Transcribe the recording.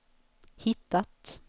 hittat